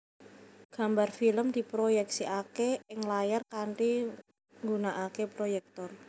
Gambar film diproyèksikaké ing layar kanthi nggunakaké proyèktor